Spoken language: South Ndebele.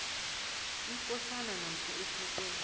ikosana namkha isekela